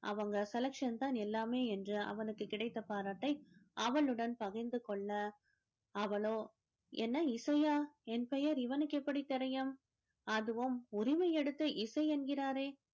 அவங்க selection தான் எல்லாமே என்று அவனுக்கு கிடைத்த பாராட்டை அவளுடன் பகிர்ந்து கொள்ள அவளோ என்ன இசையா என் பெயர் இவனுக்கு எப்படி தெரியும் அதுவும் உரிமை எடுத்து இசை என்கிறாரே